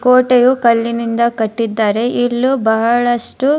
ಕೋಟೆಯು ಕಲ್ಲಿನಿಂದ ಕಟ್ಟಿದ್ದಾರೆ ಇಲ್ಲೂ ಬಹಳಷ್ಟು --